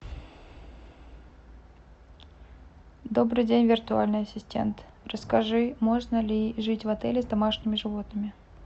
добрый день виртуальный ассистент расскажи можно ли жить в отеле с домашними животными